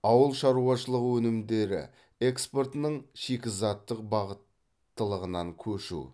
ауыл шаруашылығы өнімдері экспортының шикізаттық бағыттылығынан көшу